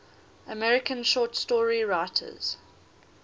american short story writers